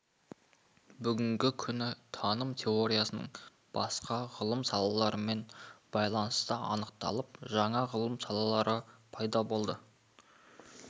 бүгінгі күні таным теориясының басқа ғылым салаларымен байланысы анықталып жаңа ғылым салалары пайда болды